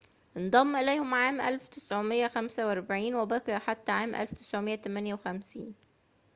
انضم إليهم عام 1945 وبقي حتى عام 1958